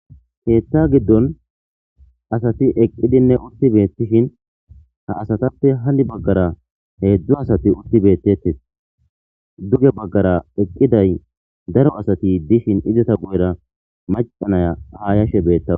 keetta giddon asati eqqidinne utti beettishin ha asatappe hanni baggara heedzdzu asati utti beettettes duge baggara eqqiday daro asati dishin izata gu7era macanaya ha yashe beettawa